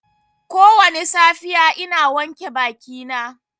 Kowane safiya ina wanke bakina.